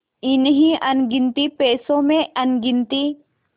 इन्हीं अनगिनती पैसों में अनगिनती